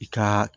I ka